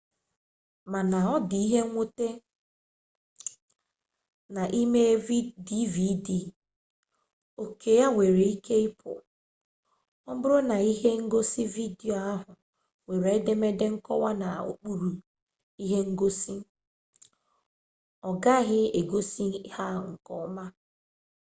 mana ọ dị mwute na ị mee dvd oke ya nwere ike ịpụ ọ bụrụ na ihe ngosi vidiyo ahụ nwere edemede nkọwa nọ n'okpuru ihe ngosi ọgaghị egosi ha nke ọma